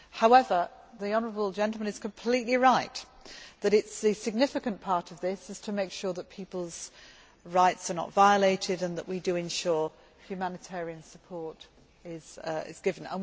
However, the honourable gentleman is completely right that the significant part of this is to make sure that people's rights are not violated and that we ensure humanitarian support is given.